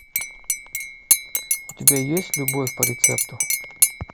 у тебя есть любовь по рецепту